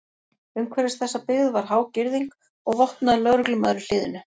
Umhverfis þessa byggð var há girðing og vopnaður lögreglumaður í hliðinu.